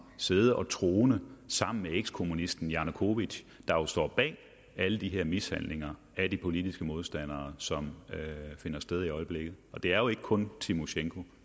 sidde og trone sammen med ekskommunisten janukovytj der jo står bag alle de her mishandlinger af de politiske modstandere som finder sted i øjeblikket og det er jo ikke kun tymosjenko